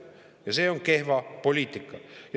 Ja see on kehv poliitika.